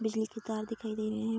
बिजली की तार दिखाई दे रहे है।